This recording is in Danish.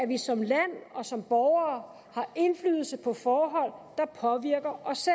vi som land og som borgere har indflydelse på forhold der påvirker os